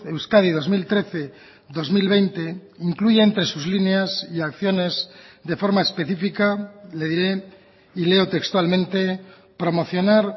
euskadi dos mil trece dos mil veinte incluye entre sus líneas y acciones de forma específica le diré y leo textualmente promocionar